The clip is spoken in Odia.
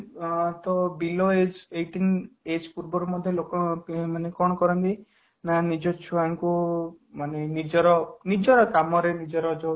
ଅଂ ତ below age eighteen age ପୂର୍ବରୁ ମଧ୍ୟ ଲୋକମାନେ କ'ଣ କରନ୍ତି ନା ନିଜ ଛୁଅଁ ଙ୍କୁ ମାନେ ନିଜର କାମରେ ନିଜର